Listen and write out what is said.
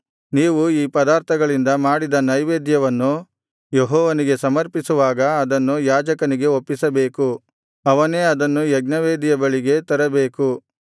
ನೀವು ಈ ಪದಾರ್ಥಗಳಿಂದ ಮಾಡಿದ ನೈವೇದ್ಯವನ್ನು ಯೆಹೋವನಿಗೆ ಸಮರ್ಪಿಸುವಾಗ ಅದನ್ನು ಯಾಜಕನಿಗೆ ಒಪ್ಪಿಸಬೇಕು ಅವನೇ ಅದನ್ನು ಯಜ್ಞವೇದಿಯ ಬಳಿಗೆ ತರಬೇಕು